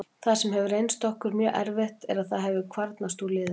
Það sem hefur reynst okkur mjög erfitt er að það hefur kvarnast úr liðinu.